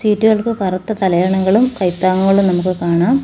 സീറ്റുകക്ക് കറുത്ത തലയണകളും കൈത്താങ്ങുകളും നമുക്ക് കാണാം.